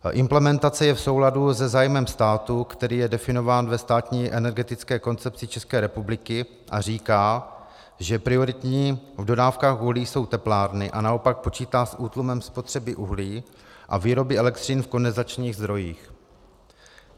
Implementace je v souladu se zájmem státu, který je definován ve státní energetické koncepci České republiky a říká, že prioritní v dodávkách uhlí jsou teplárny, a naopak počítá s útlumem spotřeby uhlí a výroby elektřiny v kondenzačních zdrojích.